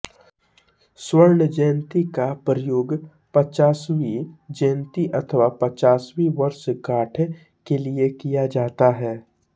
स्वर्ण जयंती का प्रयोग पचासवीं जयंती अथवा पचासवीं वर्षगाँठ के लिये किया जाता है